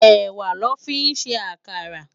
Èwá lò fi n sé àkárà